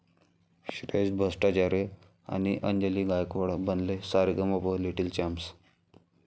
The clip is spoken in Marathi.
श्रेयण भट्टाचार्य आणि अंजली गायकवाड बनले 'सारेगमप लिटिल चॅम्प्स'